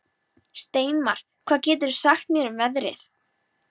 Steinmar, hvað geturðu sagt mér um veðrið?